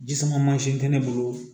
Ji sama mansin tɛ ne bolo